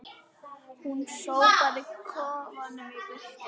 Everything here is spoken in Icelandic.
Hún sópaði kofanum í burtu